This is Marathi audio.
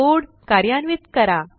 कोड कार्यान्वित करा